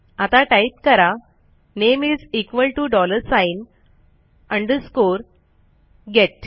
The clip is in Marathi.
आता टाईप करा name is equal to dollar sign underscore gate